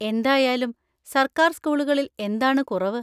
എന്തായാലും സർക്കാർ സ്കൂളുകളിൽ എന്താണ് കുറവ്?